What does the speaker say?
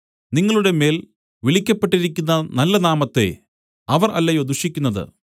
നിങ്ങളുടെമേൽ വിളിക്കപ്പെട്ടിരിക്കുന്ന നല്ല നാമത്തെ അവർ അല്ലയോ ദുഷിക്കുന്നത്